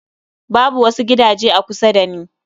Babu wasu gidaje a kusa da ni